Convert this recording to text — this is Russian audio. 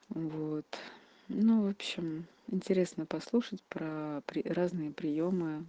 вот ну в общем интересно послушать про разные приёмы